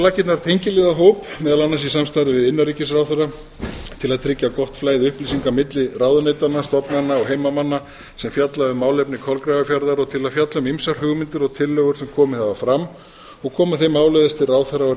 laggirnar tengiliðahóp meðal annars í samstarfi við innanríkisráðherra til að tryggja gott flæði upplýsinga milli ráðuneytanna stofnana og heimamanna sem fjalla um málefni kolgrafafjarðar og til að fjalla um ýmsar hugmyndir og tillögur sem komið hafa fram og koma þeim áleiðis til ráðherra og